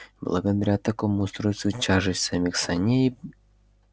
благодаря такому устройству тяжесть самих саней